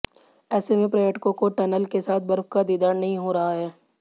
ऐसे में पर्यटकों को टनल के साथ बर्फ का दीदार नहीं हो रहा है